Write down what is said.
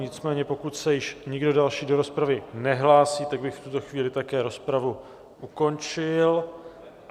Nicméně pokud se již nikdo další do rozpravy nehlásí, tak bych v tuto chvíli také rozpravu ukončil.